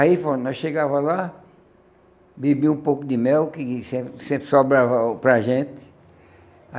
Aí pronto nós chegava lá, bebíamos um pouco de mel, que sempre sempre sobrava para a gente.